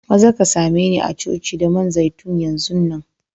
Maza ka same ni a'coci da man zaitun yanzun nan!